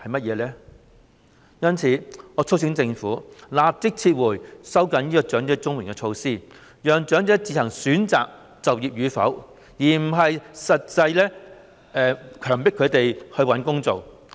因此，我促請政府立即撤回收緊領取長者綜援金資格的措施，讓長者自行選擇就業與否，而非強迫他們找工作。